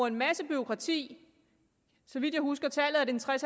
en masse bureaukrati så vidt jeg husker tallet er det tres